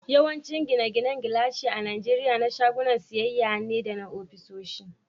Yawancin gine-ginen gilashi a Najeriya na shagunan siyayya ne da ofisoshi.